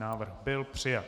Návrh byl přijat.